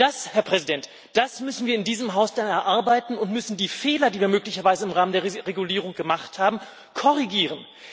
Und das, Herr Präsident, das müssen wir in diesem Haus dann erarbeiten und müssen die Fehler, die wir möglicherweise im Rahmen der Regulierung gemacht haben, korrigieren.